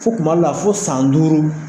Fɔ tuma dɔ la fɔ san duuru.